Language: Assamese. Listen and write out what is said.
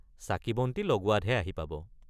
চাকিবন্তি লগোৱাতহে আহি পাব।